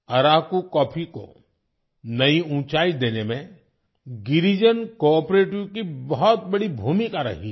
Araku coffee को नई ऊंचाई देने में गिरिजन कोआपरेटिव की बहुत बड़ी भूमिका रही है